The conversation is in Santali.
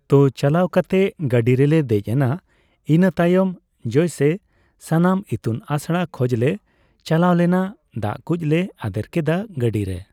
ᱛᱚ ᱪᱟᱞᱟᱣ ᱠᱟᱛᱮᱜ ᱜᱟᱹᱰᱤ ᱨᱮᱞᱮ ᱫᱮᱡ ᱮᱱᱟ ᱤᱱᱟᱹᱛᱟᱭᱚᱢ ᱡᱮᱭᱥᱮ ᱥᱟᱢᱟᱱ ᱤᱛᱩᱱ ᱟᱥᱲᱟ ᱠᱷᱚᱡᱞᱮ ᱪᱟᱞᱟᱣᱞᱮᱱᱟ ᱫᱟᱜᱠᱩᱡ ᱞᱮ ᱟᱫᱮᱨ ᱠᱮᱫᱟ ᱜᱟᱹᱰᱤᱨᱮ